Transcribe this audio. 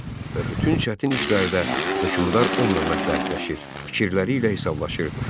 Və bütün çətin işlərdə hökmdar onunla məsləhətləşir, fikirləri ilə hesablaşırdı.